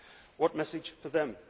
What message for them?